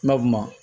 Nka bama